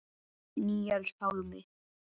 Níels Pálmi.